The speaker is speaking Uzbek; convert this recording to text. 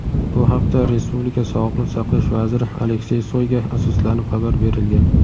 Bu haqda respublika Sog‘liqni saqlash vaziri Aleksey Soyga asoslanib xabar berilgan.